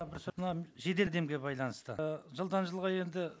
мына жедел байланысты ы жылдан жылға енді